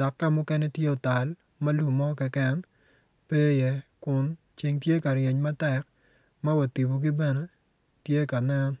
dok ka mukene tye mutal ma lum mo keken pe iye kun ceng tye ka ryeny matek ma wa tipogi bene tye ka nen.